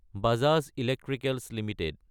Bajaj electricals Ltd